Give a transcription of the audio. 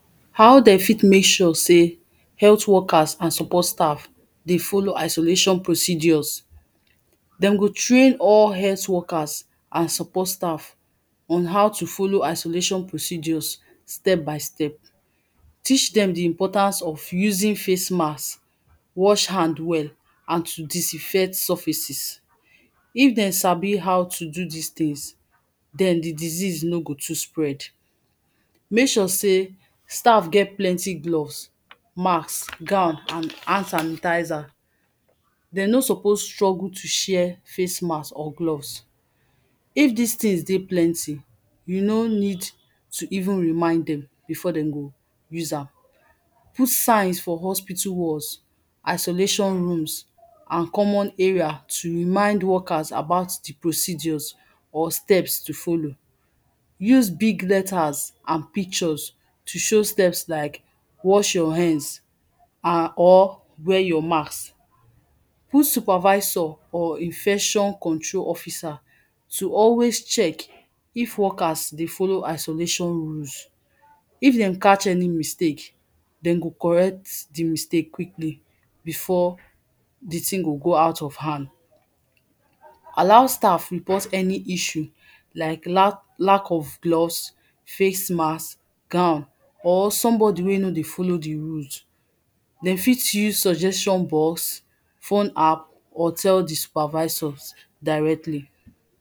How de fit mek sure sey health workers and support staff dey follow isolation procedures. Dem go train all health workers and support staff on how to follow isolation procedures step by step, teach dem di importance of using face mask, wash hand well and to disinfect surfaces. If dem sabi how to do dis things, den di disease no go too spread, mek sure sey staff get plenty gloves, mask, gown and hand sanitizer. De no suppose struggle to share face masks or gloves, if dis things dey plenty you no need to even remind dem, before dem go use am. Put signs for hospital walls, isolation rooms and common area to remind workers about di procedures or steps to follow, use big letters and pictures to show steps like: wash your hands, and or wear your mask. Put supervisor or infection control officer, to always check if workers dey follow isolation rules. If dem catch any mistake, den go correct di mistake quickly, before di thing go go out of hand. Allow staff report any issue like; la, lack of gloves, facemask, gown or somebody wey no dey follow di rules, dem fit use suggestion box, fun app, or tell di supervisor directly.